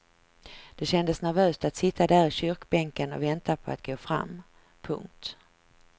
Det kändes nervöst att sitta där i kyrkbänken och vänta på att gå fram. punkt